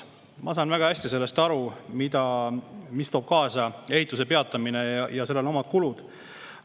Ma saan väga hästi aru, mida toob kaasa ehituse peatamine, seal on omad kulud.